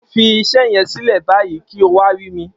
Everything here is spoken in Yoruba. Fi iṣẹ́ yẹn sílẹ̀ báyìí kí o wá rí mi.